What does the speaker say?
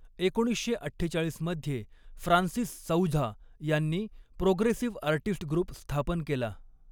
एकोणीसशे अठ्ठेचाळीस मध्ये फ्रांसीस सौझा यांनी प्रोग्रेसिव्ह आर्टिस्ट ग्रुप स्थापन केला.